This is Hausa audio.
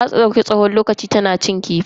Ta dauki tsawon lokaci tana shanya kifi.